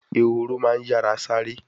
Ehoro ma n yara sare